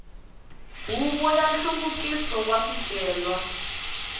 huvo ya nhluvukiso wa swicelwa